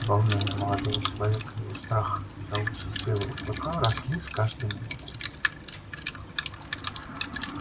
волнение молодого человека и его страх за участь белого клыка росли с каждой минутой